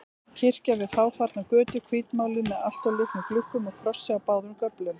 Kirkja við fáfarna götu, hvítmáluð með alltof litlum gluggum og krossi á báðum göflum.